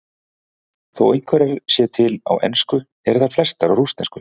Þó einhverjar séu til á ensku eru þær flestar á rússnesku.